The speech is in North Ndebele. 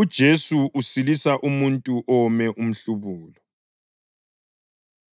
UJesu Usilisa Umuntu Owome Umhlubulo